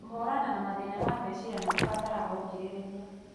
Kũhũrana na mathĩna ma meciria nĩ kũbataraga ũkirĩrĩria,